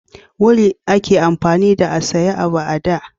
wuri a ke amfani da a saya abu a da